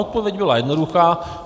Odpověď byla jednoduchá: